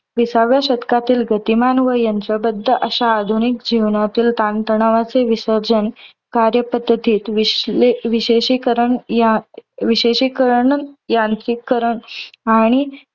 विसाव्या शतकातील गतिमान व यंत्रबद्द अश्या आधुनिक जीवनातील ताण तणावाचे विसर्जन, कार्यपद्धतीत विश्ले विशेषीकरण या विशेषीकरण व यांत्रिकरण आणि